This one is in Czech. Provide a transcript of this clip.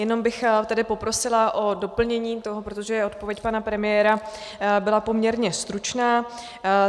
Jenom bych tedy poprosila o doplnění toho, protože odpověď pana premiéra byla poměrně stručná.